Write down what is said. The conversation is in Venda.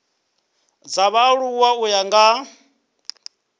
dza vhaaluwa u ya nga